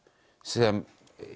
sem